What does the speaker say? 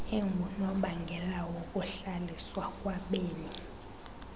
engunobangela wokuhlaliswa kwabemi